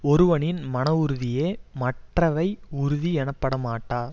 ஒருவனின் மன உறுதியே மற்றவை உறுதி எனப்பட மாட்டா